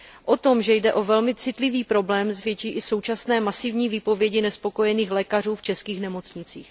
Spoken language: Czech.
O tom, že jde o velmi citlivý problém, svědčí i současné masivní výpovědi nespokojených lékařů v českých nemocnicích.